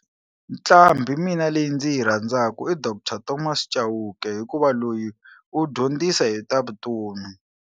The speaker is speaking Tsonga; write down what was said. Nqambhi mina leyi ndzi yi rhandzaka i Doctor Thomas Chauke hikuva loyi u dyondzisa hi ta vutomi.